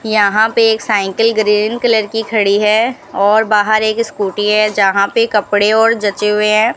यहां पे एक साइकिल ग्रीन कलर की खड़ी है और बाहर एक स्कूटी है जहां पे कपड़े और जचे हुए हैं।